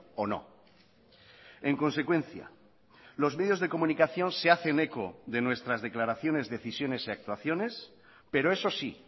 o no en consecuencia los medios de comunicación se hacen eco de nuestras declaraciones decisiones y actuaciones pero eso sí